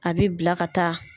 A bɛ bila ka taa